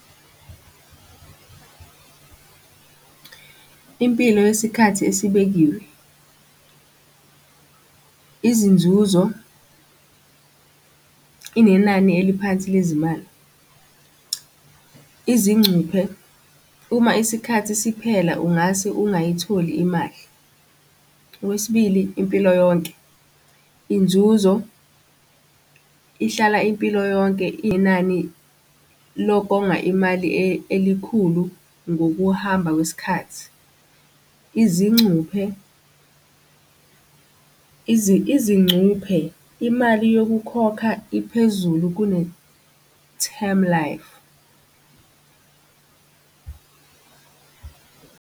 Impilo yesikhathi esibekiwe izinzuzo, nenani eliphansi lezimali, izincuphe. Uma isikhathi siphela, ungase ungayitholi imali. Okwesibili, impilo yonke, inzuzo ihlala impilo yonke inani lokonga imali elikhulu ngokuhamba kwesikhathi. Izincuphe izincuphe imali yokukhokha iphezulu kune-time life.